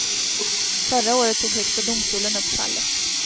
Förra året tog högsta domstolen upp fallet.